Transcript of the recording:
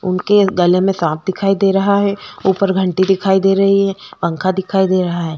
उनके गले में सांप दिखाई दे रहा है उपर घंटी दिखाई दे रही है पंखा दिखाई दे रहा है।